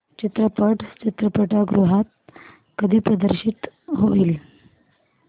चित्रपट चित्रपटगृहात कधी प्रदर्शित होईल